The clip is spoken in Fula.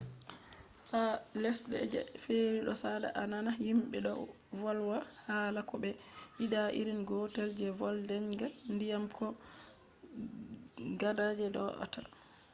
ha lesde je feri do sada a nana himbe do volwa hala ko be yida irin gotel je vodenga ndiyam kobo gada je doata